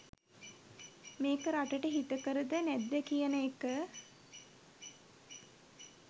මේක රටට හිතකරද නැද්ද කියන එක